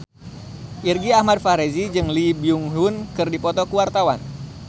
Irgi Ahmad Fahrezi jeung Lee Byung Hun keur dipoto ku wartawan